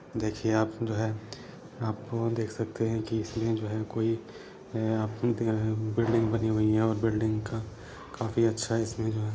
देखिए आप जो है आप लोग देख सकते हैं की इसे जो हे की जो अअ बिल्डिंग बनी हुई है और बिल्डिंग का काफ़ी अच्छा इसमें जो हैं।